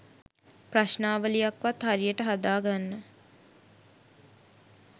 ප්‍රශ්නාවලියක් වත් හරියට හදා ගන්න